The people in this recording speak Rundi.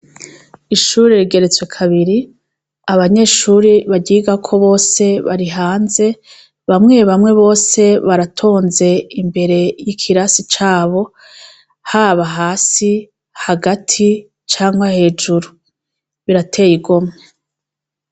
Ishure rigeretswe kabiri. Abanyeshure baryigako bose bari hanze. Bamwe bamwe bose baratonze imbere y'ikirasi cabo, haba hasi, hagati canke hejuru. Birateye igomwe.